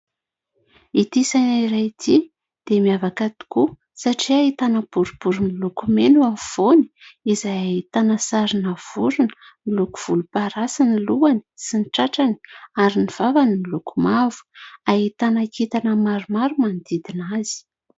Ity saina iray ity dia miavaka tokoa satria: ahitana boribory miloko mena afovoany izay ahitana sarina vorona miloko volomparasy ny lohany sy ny tratrany ary ny vavany miloko mavo, ahitana kintana maromaro manodidina azy.